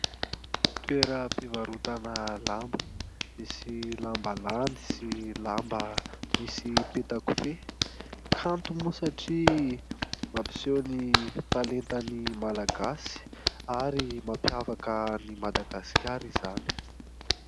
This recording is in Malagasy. Toeram-pivarotana lamba, misy lambalandy sy lamba misy petakofehy. Kanto moa satria mampiseho ny talentan'ny Malagasy ary mampiavaka an'i Madagasikara izany.